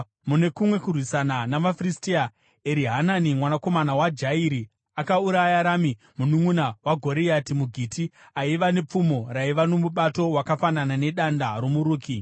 Mune kumwe kurwisana navaFiristia, Erihanani mwanakomana waJairi akauraya Rami mununʼuna waGoriati muGiti, aiva nepfumo raiva nomubato wakafanana nedanda romuruki.